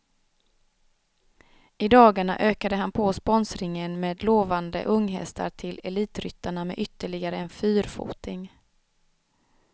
I dagarna ökade han på sponsringen med lovande unghästar till elitryttarna med ytterligare en fyrfoting.